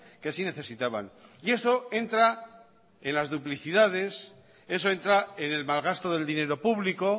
que sí necesitaban y eso entra en las duplicidades eso entra en el malgasto del dinero público